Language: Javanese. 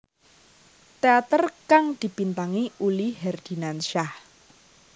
Teater kang dibintangi Uli Herdinansyah